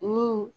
Ni